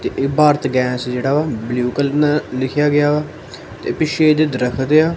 ਇਹ ਭਾਰਤ ਗੈਸ ਜਿਹੜਾ ਵਾ ਬਲੂ ਕਲਰ ਨਾਲ ਲਿਖਿਆ ਗਿਆ ਵਾ ਤੇ ਪਿੱਛੇ ਇਹਦੇ ਦਰਖਤ ਆ।